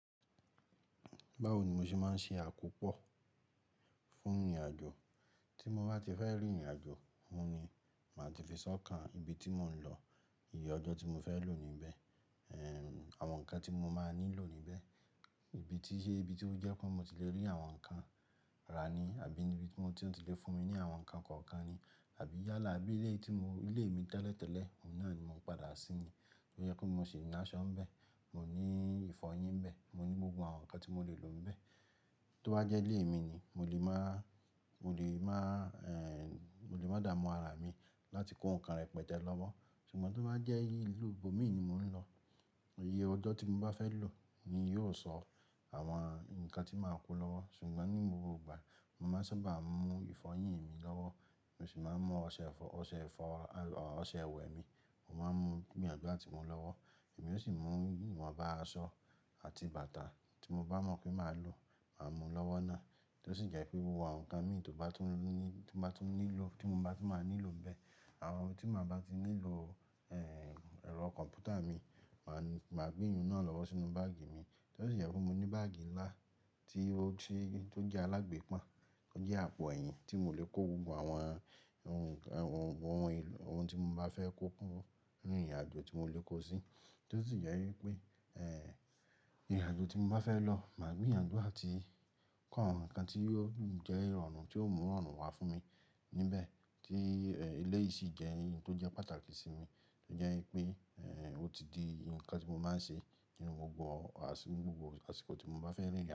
Báwo ni mo ṣe máa ń ṣe àkópọ̀ fún ìrìnàjò. Tí mo bá ti fẹ́ rìn ìrìnàjò, oun ni màá ti fi sọ́kàn ibi tí mò ń lọ, iye ọjọ́ tí mo fẹ́ lò níbẹ̀, àwọn nǹkan tí mo máa nílò níbẹ̀, ìbí tí iye ibi tí ó jẹ́ pé mo ti lè rí àwọn nǹkan rà ni àbí níbi tí wọ́n ti lè fún mi ní àwọn nǹkan kọ̀ọ̀kan ni, àbí yálà bí ilé tí mo, ilé mi tẹ́lẹ̀tẹ́lẹ̀, oun náà ni mò ń padà sí yẹn. To jẹ́ pe mo ṣe ìnáṣọ́ níbẹ̀, mo ní ìfọyín níbẹ̀, mo ní gbogbo àwọn nǹkan tí mo lè lò níbẹ̀. Tó bá jẹ́ ilé mi ni, mo lè máa, mo lè máa, mo lè máa dààmú ara mi láti kó nǹkan rẹpẹtẹ lọ́wọ́. Ṣùgbọ́n tó bá jẹ́ ìlú ibòmíràn ni mò ń lọ, iye ọjọ́ tí mo bá fẹ́ lò ni yóò sọ àwọn nǹkan tí màá kó lọ́wọ́. Ṣùgbọ́n ní gbogbo ìgbà, mo màá sábà mú ìfọyín mi lọ́wọ́, mo sì máa ń mú ọṣẹ ìfọ, ọṣẹ ìfọ, ọ̀, ọṣẹ ìwẹ̀ mi. Mo máa ń mú gbínyànjú àti mú lọ́wọ́. Èmi yóò sì mú ìwọ̀nba, aṣọ àti bàtà tí mo bá mọ̀ pé màá lò, màá mú lọ́wọ́ náà. Tó sì jẹ́ pé gbogbo awon nǹkan mi tó bá tún ní, tó bá tún nílò, tí mo bá tún máa nílò bẹ́ẹ̀. Àwọn ohun tí màá bá ti nílò, ẹ̀rọ kọ̀m̀pútà mi, màá, màá gbé eyun náà lọ́wọ́ sínú báàgì mi. Tó sì jẹ́ pé mo ní báàgì ńlá tí ó ti, tó jẹ́ alágbèpan, ó jẹ́ àpò ẹ̀yìn tí mò lè kó gbogbo àwọn ohun, àwọn ohun, ohun tí mo bá fẹ́ kó kúrò nínú ìrìnàjò tí mò lè kó sí. Tó sì jẹ́ wípé, ìrìnàjò tí mo bá fẹ́ lọ, màá gbé ìyànjú àti kó àwọn nǹkan tí yóò jẹ́ ìrọ̀rùn tí ó mú ìrọ̀rùn wá fún mi níbẹ̀ tí, eléyìí sì jẹ́ ohun tó jẹ́ pàtàkì sí mi. Tó jẹ́ wípé, ó ti di nǹkan tí mo máa ń ṣe nínú gbogbo àsìkò tí mo bá fẹ́ rìn ìrìnàjò.